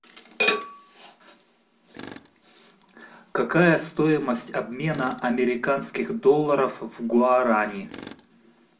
какая стоимость обмена американских долларов в гуарани